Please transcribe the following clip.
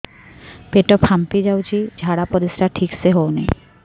ପେଟ ଫାମ୍ପି ଯାଉଛି ଝାଡ଼ା ପରିସ୍ରା ଠିକ ସେ ହଉନି